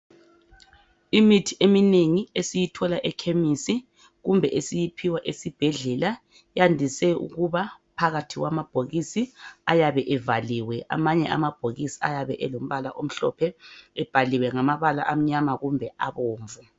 Imithi eminengi esiyithola ekhemisi kumbe esiyiphiwa esibhedlela yandise ukuba phakathi kwamabhokisi ayabe evaliwe. Amanye amabhokisi ayabe elombala omhlophe ebhaliwe ngamabala amnyama kumbe abomvu.